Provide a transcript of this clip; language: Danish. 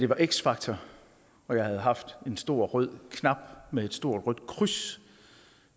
var x factor og jeg havde haft en stor rød knap med et stort rødt kryds